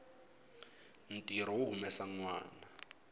ntirho wo humesa nwana